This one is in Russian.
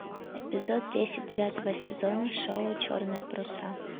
эпизод десять девятого сезона шоу черные паруса